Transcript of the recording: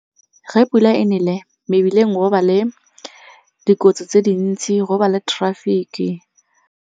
Ge pula e nele mebileng go ba le dikotsi tse dintsi, go ba le traffic-e.